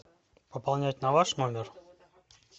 пополнять на ваш номер